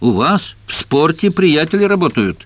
у вас в спорте приятели работают